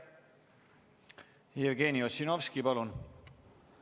Jevgeni Ossinovski, palun!